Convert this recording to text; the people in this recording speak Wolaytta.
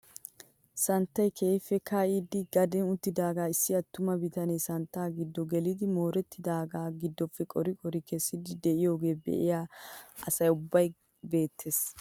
Santtay keehippe ka'idi gaden uttidagaa issi attuma bitanee santtaa gido gelidi moorettidagaa gidoppe qori qori kessiidi de'iyoogee be'iyaa asa ubbawu beettees!